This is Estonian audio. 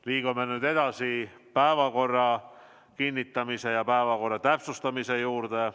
Liigume nüüd edasi päevakorra kinnitamise ja päevakorra täpsustamise juurde.